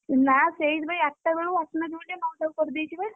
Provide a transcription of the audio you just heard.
ନା ସେଇଥିପାଇଁ ଆଠଟା ବେଳୁ ଆସୁ ନାହାନ୍ତି ବୋଲି ନଅଟାକୁ କରିଦେଇଛି ବା।